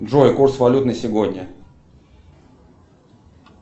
джой курс валют на сегодня